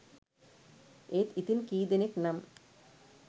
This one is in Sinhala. ඒත් ඉතින් කීදෙනෙක් නම්